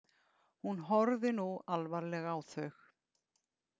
Hún horfði nú alvarleg á þau.